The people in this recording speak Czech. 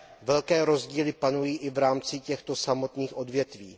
Velké rozdíly panují i v rámci těchto samotných odvětví.